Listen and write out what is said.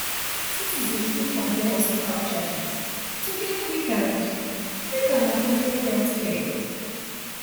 citizens fit compare hospital charges to get quick and quick and affordable healthcare